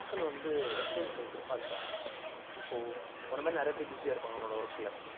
மக்கள் வந்து entertainment அ எதிர்பாக்குறாங்க இப்போ உன்ன மாதிரி நிறைய பேர் busy ஆ இருப்பாங்க உன்னோட work ல